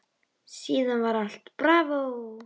Síðan var allt bravó.